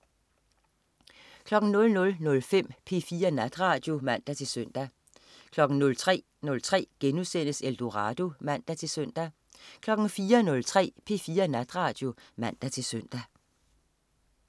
00.05 P4 Natradio (man-søn) 03.03 Eldorado* (man-søn) 04.03 P4 Natradio (man-søn)